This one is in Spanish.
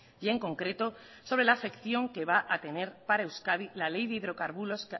y en concreto sobre la afección que va a tener para euskadi la ley